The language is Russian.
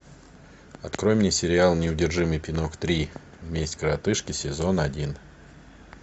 открой мне сериал неудержимый пинок три месть коротышки сезон один